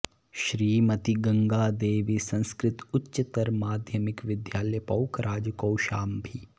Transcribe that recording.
श्रीमती गंगा देबी संस्कृत उच्चतर माध्यमिक विद्यालय पोखराज कौशाम्बी